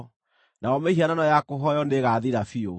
nayo mĩhianano ya kũhooywo nĩĩgathira biũ.